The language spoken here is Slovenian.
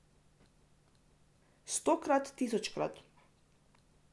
Stokrat, tisočkrat.